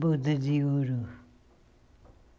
Boda de ouro.